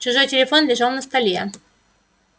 чужой телефон лежал на столе